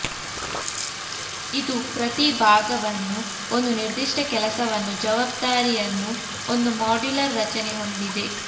ಇದು ಪ್ರತಿ ಭಾಗವನ್ನು ಒಂದು ನಿರ್ದಿಷ್ಟ ಕೆಲಸವನ್ನು ಜವಾಬ್ದಾರಿಯನ್ನು ಒಂದು ಮಾಡ್ಯುಲರ್ ರಚನೆ ಹೊಂದಿದೆ